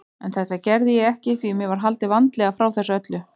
En þetta gerði ég ekki því mér var haldið vandlega frá þessu öllu.